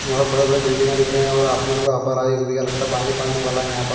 और बड़े-बड़े बिल्डिंग दिख रही है और आसमान में लगता है पानी पड़ने वाला है यहां पर।